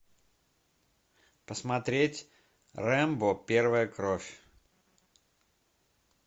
посмотреть рэмбо первая кровь